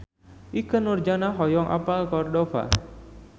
Ikke Nurjanah hoyong apal Cordova